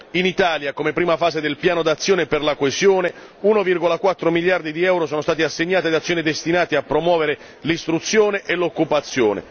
In Italia, come prima fase del piano d'azione per la coesione, 1,4 miliardi di euro sono stati assegnati ad azioni destinate a promuovere l'istruzione e l'occupazione.